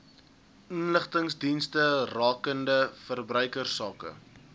inligtingsdienste rakende verbruikersake